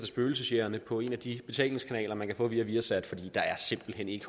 spøgelsejægerne på en af de betalingskanaler man kan få via viasat fordi der simpelt hen ikke